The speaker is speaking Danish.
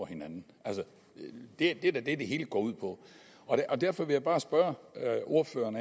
hinanden det er da det det hele går ud på derfor vil jeg bare spørge ordføreren